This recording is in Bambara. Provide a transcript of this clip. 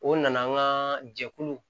O nana an ka jɛkulu